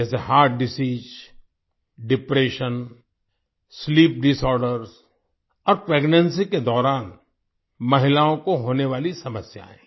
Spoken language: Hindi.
जैसे heart disease depression sleep disorder और प्रेग्नेंसी के दौरान महिलाओं को होने वाली समस्यायें